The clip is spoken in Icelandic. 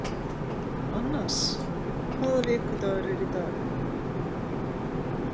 Annas, hvaða vikudagur er í dag?